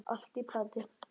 Allt í plati!